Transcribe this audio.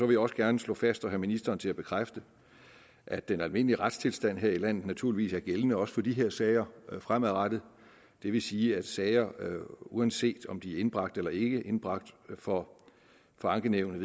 vil også gerne slå fast og have ministeren til at bekræfte at den almindelige retstilstand her i landet naturligvis er gældende også for disse sager fremadrettet det vil sige at sager uanset om de er indbragt eller ikke indbragt for ankenævnet